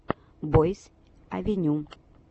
бойс авеню